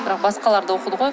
бірақ басқалар да оқыды ғой